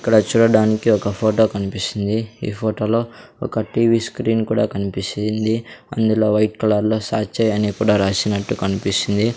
ఇక్కడ చూడటానికి ఒక ఫోటో కన్పిస్తుంది ఈ ఫోటో లో ఒక టీ_వీ స్క్రీన్ కూడా కన్పిస్తుంది అందులో వైట్ కలర్ లో శాచై అని కూడా రాసినట్టు కన్పిస్తుంది.